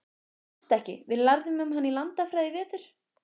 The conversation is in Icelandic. Manstu ekki, við lærðum um hana í landafræðinni í vetur?